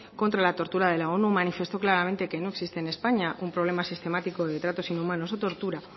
contra la tortura de la onu manifestó claramente que no existe en españa un problema sistemático de tratos inhumanos o tortura